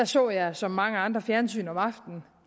så jeg som mange andre fjernsyn om aftenen